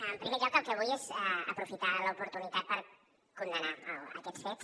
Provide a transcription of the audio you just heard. en primer lloc el que vull és aprofitar l’oportunitat per condemnar aquests fets